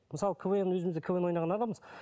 мысалы квн өзіміз де квн ойнаған адамбыз